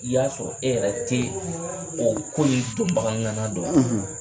I y'a sɔrɔ e yɛrɛ tɛ o ko in dɔnbagaŋana dɔn